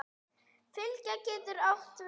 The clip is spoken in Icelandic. Fylgja getur átt við